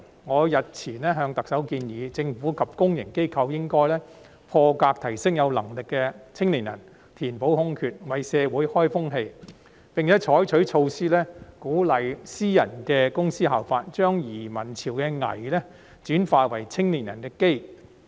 我日前向特首建議，政府及公營機構應破格提升有能力的青年人填補空缺，為社會開風氣，並採取措施鼓勵私人公司效法，將移民潮的"危"轉化為青年人的"機"。